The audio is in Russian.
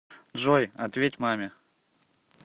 джой ответь маме